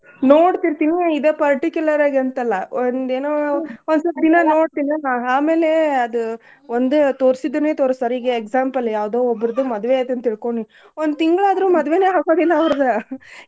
ನೋಡ್ ತೀರ್ತೇನಿ ಇದ್ particular ಆಗಿ ಅಂತ್ ಅಲ್ಲ ಒಂದ್ ಏನೋ ಒಂದ್ ಸ್ವಲ್ಪ ದಿನಾ ನೋಡ್ತಿನಾ ನಾ ಆಮೇಲೆ ಅದ್ ಒಂದ್ ತೋರ್ಸಿದ್ದನೇ ತೋರಸ್ತಾರ್ ಈಗ್ example ಯಾವ್ದೋ ಒಬ್ಬರ್ದು ಮದ್ವೆ ಐತ್ ಅಂತ್ ತಿಳ್ಕೋ ನೀ ಒಂದ್ ತಿಂಗ್ಳ್ ಆದ್ರೂ ಮದ್ವೇನೆ ಆಗೋದಿಲ್ಲ ಅವರ್ದು .